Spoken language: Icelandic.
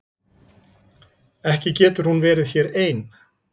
Ekki getur hún verið hér ein.